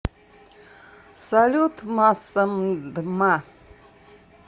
салют масса мдма